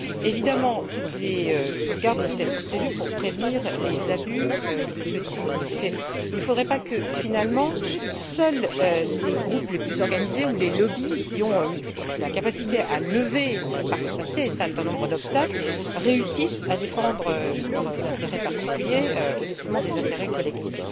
Évidemment, toutes les sauvegardes doivent être prévues pour prévenir les abus de ce dispositif. Il ne faudrait pas que, finalement, seuls les groupes les plus organisés ou les lobbies qui ont la capacité de surmonter un certain nombre d'obstacles réussissent à défendre leurs intérêts particuliers au détriment des intérêts collectifs.